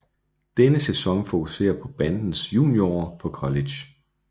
Denne sæson fokuserer på bandens junior år på college